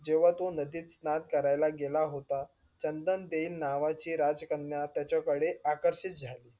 जेंव्हा तो नदीत स्नान करायला गेला होता. चंदन देह नावाची राज कन्या त्याच्या कडे आकर्षित झाली.